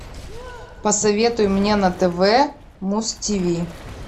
посоветуй мне на тв муз ти ви